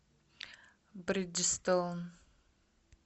бриджестоун